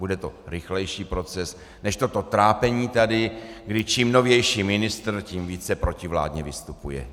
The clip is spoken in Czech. Bude to rychlejší proces než toto trápení tady, kdy čím novější ministr, tím více protivládně vystupuje.